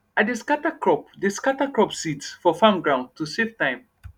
i dey scatter crop dey scatter crop seeds for farm ground to safe time